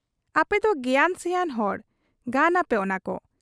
ᱟᱯᱮᱫᱚ ᱜᱮᱭᱟᱱ ᱥᱮᱭᱟᱱ ᱦᱚᱲ, ᱜᱟᱱᱟᱯᱮ ᱚᱱᱟ ᱠᱚ ᱾